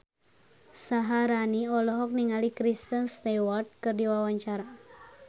Syaharani olohok ningali Kristen Stewart keur diwawancara